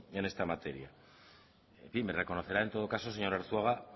en esta materia en fin me reconocerá en todo caso señor arzuaga